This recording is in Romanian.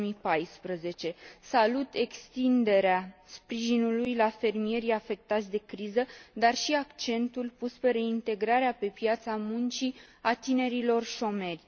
2014. Salut extinderea sprijinului la fermierii afectați de criză, dar și accentul pus pe reintegrarea pe piața muncii a tinerilor șomeri.